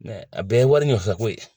Mɛ a bɛɛ wari nɔfɛtɔko ye